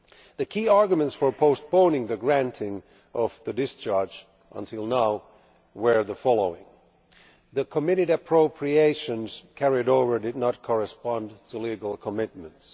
The key arguments for postponing the granting of the discharge until now were the following the committed appropriations carried over did not correspond to legal commitments